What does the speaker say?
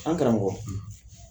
An karamɔgɔ.